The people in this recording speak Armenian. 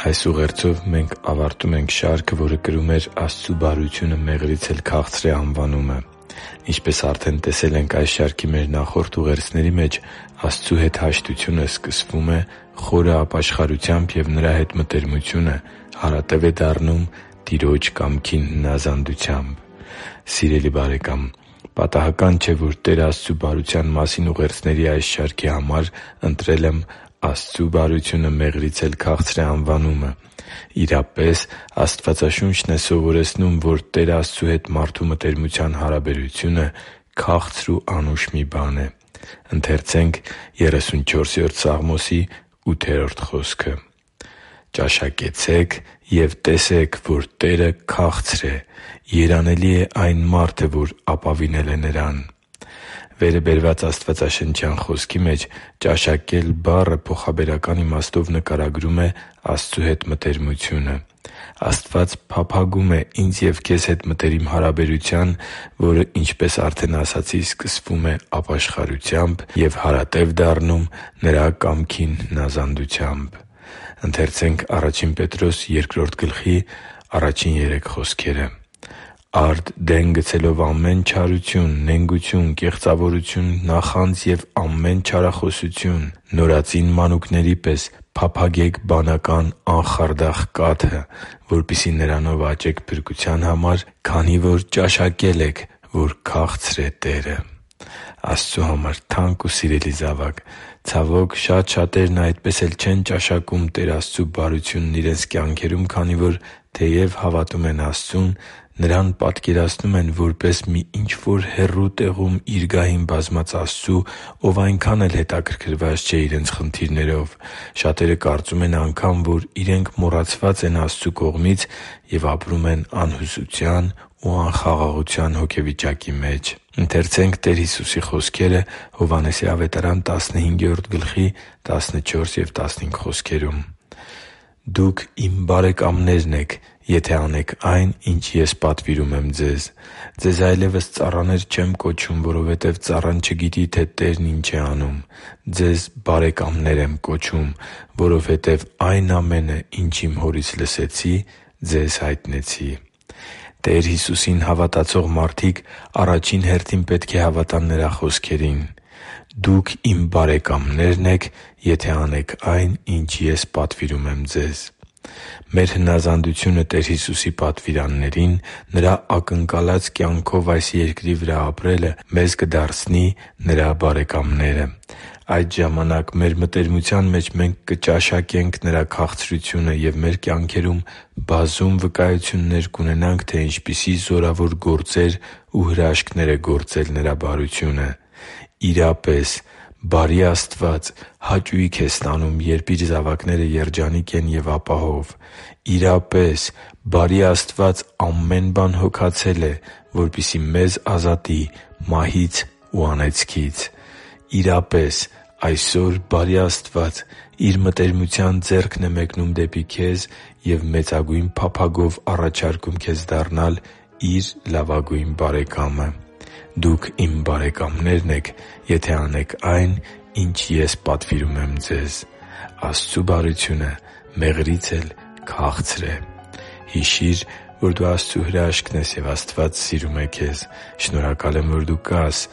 Այս ուղերձով մենք ավարտում ենք շարքը, որը կրում էր «Աստծու բարությունը մեղրից էլ քաղցր է» անվանումը։ Ինչպես արդեն տեսել ենք այս շարքի մեր նախորդ ուղերձների մեջ` Աստծու հետ հաշտությունը սկսվում է խորը ապաշխարությամբ, և Նրա հետ մտերմությունը հարատև է դառնում Տիրոջ կամքին հնազանդությամբ։ Սիրելի՛ բարեկամ, պատահական չէ, որ Տեր Աստծու բարության մասին ուղերձների այս շարքի համար ընտրել եմ«Աստծու բարությունը մեղրից էլ քաղցր է» անվանումը։ Իրապես, Աստվածաշունչն է սովորեցնում, որ Տեր Աստծու հետ մարդու մտերմության հարաբերությունը քաղցր ու անուշ մի բան է։ «Ճաշակեցե՛ք և տեսե՛ք, որ Տերը քաղցր է. երանելի է այն մարդը, որ ապավինել է Նրան» (Սաղմոս 34․8): Վերը բերված աստվածաշնչյան խոսքի մեջ «ճաշակել» բառը փոխաբերական իմաստով նկարագրում է Աստծու հետ մտերմությունը։ Աստված փափագում է ինձ և քեզ հետ մտերիմ հարաբերության, որը, ինչպես արդեն ասացի, սկսում է ապաշխարությամբ և հարատև դառնում Նրա կամքին հնազանդությամբ։ «Արդ դեն գցելով ամեն չարություն, նենգություն, կեղծավորություն, նախանձ և ամեն չարախոսություն՝ նորածին մանուկների պես փափագե՛ք բանական, անխարդախ կաթը, որպեսզի նրանով աճեք փրկության համար, քանի որ ճաշակել եք, որ քաղցր է Տերը» (Ա Պետրոս 2․1-3): Աստծու համար թանկ ու սիրելի՛ զավակ, ցավոք, շատ շատերն այդպես էլ չեն ճաշակում Տեր Աստծու բարությունն իրենց կյանքերում, քանի որ, թեև հավատում են Աստծուն, Նրան պատկերացնում են որպես մի ինչ-որ հեռու տեղում Իր գահին բազմած Աստծու, Ով այնքան էլ հետաքրքրված չէ իրենց խնդիրներով։ Շատերը կարծում են անգամ, որ իրենք մոռացված են Աստծու կողմից, և ապրում են անհուսության ու անխաղաղության հոգեվիճակի մեջ։ «Դուք Իմ բարեկամներն եք, եթե անեք այն, ինչ Ես պատվիրում եմ ձեզ։ Ձեզ այլևս ծառաներ չեմ կոչում, որովհետև ծառան չգիտի, թե իր տերն ի՛նչ է անում։ Ձեզ բարեկամներ եմ կոչում, որովհետև այն ամենը, ինչ Իմ Հորից լսեցի, ձեզ հայտնեցի» (Հովհաննես 15․14-15): Տեր Հիսուսին հավատացող մարդիկ առաջին հերթին պետք է հավատան Նրա խոսքերին։ «Դուք Իմ բարեկամներն եք, եթե անեք այն, ինչ Ես պատվիրում եմ ձեզ»։ Մեր հնազանդությունը Տեր Հիսուսի պատվիրաններին՝ Նրա ակնկալած կյանքով այս երկրի վրա ապրելը մեզ կդարձնի Նրա բարեկամները։ Այդ ժամանակ մեր մտերմության մեջ մենք կճաշակենք Նրա քաղցրությունը և մեր կյանքերում բազում վկայություններ կունենանք, թե ինչպիսի զորավոր գործեր ու հրաշքներ է գործել Նրա բարությունը։ Իրապե՛ս, բարի Աստված հաճույք է ստանում, երբ Իր զավակները երջանիկ են և ապահով։ Իրապե՛ս, բարի Աստված ամեն բան հոգացել է, որպեսզի մեզ ազատի մահից ու անեծքից։ Իրապե՛ս, այսօր բարի Աստված Իր մտերմության ձեռքն է մեկնում դեպի քեզ և մեծագույն փափագով առաջարկում քեզ դառնալ Իր լավագույն բարեկամը․ «Դուք Իմ բարեկամներն եք, եթե անեք այն, ինչ Ես պատվիրում եմ ձեզ»։ Աստծու բարությունը մեղրից էլ քաղցր է․․․ Հիշի՛ր, որ դու Աստծո հրաշքն ես, և Աստված սիրում է քեզ։ Շնորհակալ եմ, որ դու կա՛ս